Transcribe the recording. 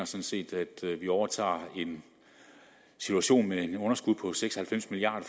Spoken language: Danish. set at vi overtager en situation med et underskud på seks og halvfems milliard